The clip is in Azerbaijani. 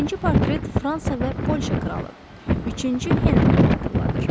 Birinci portret Fransa və Polşa kralı Üçüncü Henrixi xatırladır.